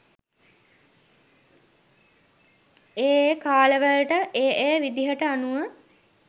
ඒ ඒ කාලවලට ඒ ඒ විදිහට අනුව